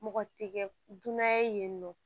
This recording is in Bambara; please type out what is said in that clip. Mɔgɔ tɛ kɛ dunan ye nɔ